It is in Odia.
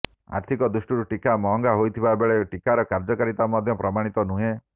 ଆର୍ଥିକ ଦୃଷ୍ଟିରୁ ଟିକା ମହଙ୍ଗା ହୋଇଥିବା ବେଳେ ଟିକାର କାର୍ଯ୍ୟକାରିତା ମଧ୍ୟ ପ୍ରମାଣିତ ନୁହେଁ